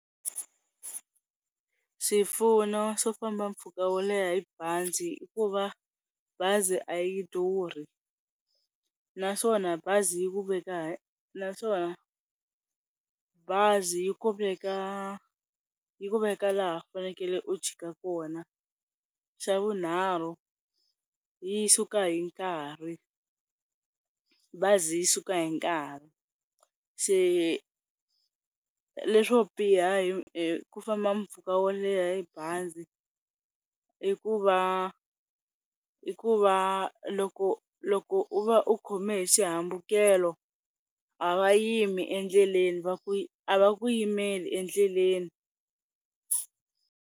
Swipfuno swo famba mpfhuka wo leha hi bazi, i ku va bazi a yi durhi naswona bazi yi ku veka naswona bazi yi ku veka laha fanekele u chika kona. Xa vunharhu yi suka hi nkarhi, bazi yi suka hi nkarhi se leswo biha hi ku famba mpfhuka wo leha hi bazi i ku va, i ku va loko loko u va u khome hi xihambukelo a va yimi endleleni a va ku yimeli endleleni.